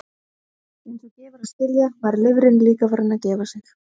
Eins og gefur að skilja var lifrin líka farin að gefa sig.